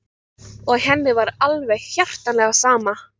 Og var henni alveg hjartanlega sammála.